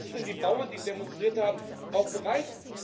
Und dazu sind die Bauern, die demonstriert haben, auch bereit.